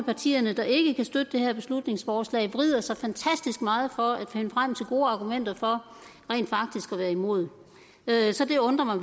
partier der ikke kan støtte det her beslutningsforslag vrider sig fantastisk meget for at finde frem til gode argumenter for rent faktisk at være imod så det undrer mig